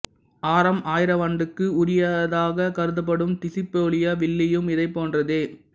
ஆறாம் ஆயிரவாண்டுக்கு உரியதாகக் கருதப்படும் டிசுப்பிலியோ வில்லையும் இதைப் போன்றதே